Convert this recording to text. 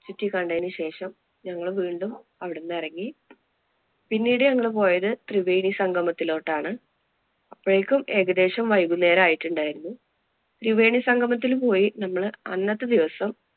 ചുറ്റിക്കണ്ടതിനു ശേഷം ഞങ്ങള് വീണ്ടും അവിടുന്ന് ഇറങ്ങി. പിന്നീട് ഞങ്ങള് പോയത് ത്രിവേണി സംഗമത്തിലോട്ടാണ്. അപ്പോഴേക്കും ഏകദേശം വൈകുന്നേരം ആയിട്ടുണ്ടായിരുന്നു. ത്രിവേണി സംഗമത്തില്‍ പോയി നമ്മള് അന്നത്തെ ദിവസം